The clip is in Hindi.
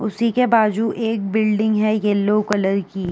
उसी के बाजु एक बिल्डिंग है येलो कलर की।